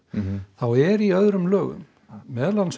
þá er í öðrum lögum meðal annars